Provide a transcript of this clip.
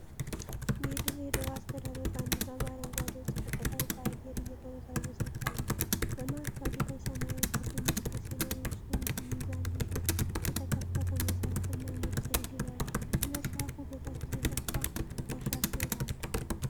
የዲሬ ዳዋ አስተዳደር ባንዲራ በአረንጓዴው ጨርቅ ላይ በአየር እየተወዛወዘ ይታያል። በማዕከሉ ላይ ሰማያዊ ክብ ምልክት ሲኖር በውስጡም ሚዛን፣ የተከፈተ መጽሐፍ እና ነጭ ርግብ አሉ። ከመጽሐፉ በታች የሰፋ እርሻ ስዕል አለ።